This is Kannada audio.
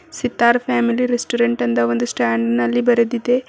ಸಿತಾರ್ ಫ್ಯಾಮಿಲಿ ರೆಸ್ಟೋರೆಂಟ್ ಅಂತ ಒಂದು ಸ್ಟ್ಯಾಂಡ್ ನಲ್ಲಿ ಬರೆದಿದೆ.